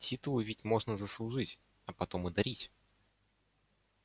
титулы ведь можно заслужить а потом и дарить